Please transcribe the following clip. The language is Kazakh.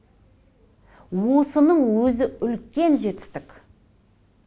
осының өзі үлкен жетістік